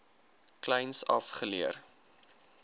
kleins af geleer